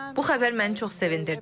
Bu xəbər məni çox sevindirdi.